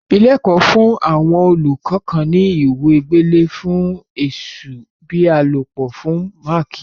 Ilé-ẹ̀kọ́ fún àwọn olùkọ́ kan ní ìwé gbélé ẹ̀ fún ẹ̀sù ìbálòpọ̀ fún máákì.